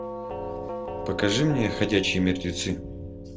покажи мне ходячие мертвецы